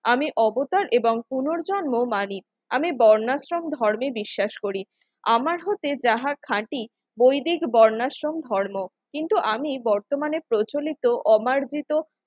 আমি অবতার এবং পুনর্জন্ম মানি আমি বর্ণাশ্রম ধর্মে বিশ্বাস করি আমার হতে যাহা খাঁটি বৈদিক বর্ণাশ্রম ধর্ম কিন্তু আমি বর্তমানে প্রচলিত অমারজিত